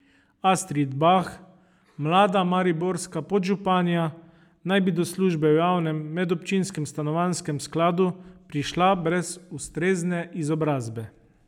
Astrid Bah, mlada mariborska podžupanja, naj bi do službe v Javnem medobčinskem stanovanjskem skladu prišla brez ustrezne izobrazbe.